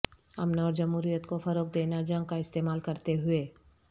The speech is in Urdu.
امن اور جمہوریت کو فروغ دینا جنگ کا استعمال کرتے ہوئے